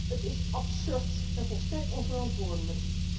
Het is absurd en volstrekt onverantwoordelijk.